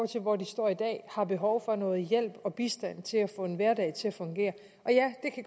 til hvor de står i dag har behov for noget hjælp og bistand til at få en hverdag til at fungere